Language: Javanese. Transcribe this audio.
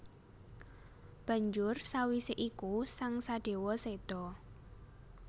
Banjur sawisé iku sang Sadéwa séda